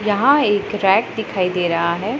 यहां एक रैट दिखाई दे रहा है।